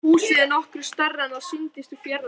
Húsið er nokkru stærra en það sýndist úr fjarlægð.